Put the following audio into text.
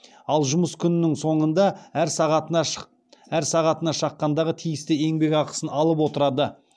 ал жұмыс күнінің соңында әр сағатына шаққандағы тиісті еңбекақысын алып отырады